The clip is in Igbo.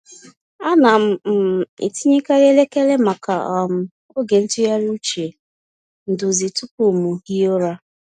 Ana m um etinyekarị elekere maka um oge ntụgharị uche nduzi tupu m hie ụra.